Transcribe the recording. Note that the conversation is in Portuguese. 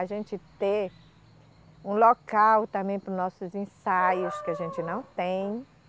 A gente ter um local também para os nossos ensaios, que a gente não tem.